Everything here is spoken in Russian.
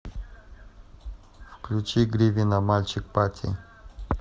включи гривина мальчик пати